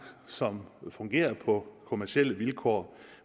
som fungerer på kommercielle vilkår